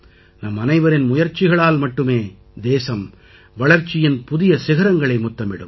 நம்மனைவரின் முயற்சிகளால் மட்டுமே தேசம் வளர்ச்சியின் புதிய சிகரங்களை முத்தமிடும்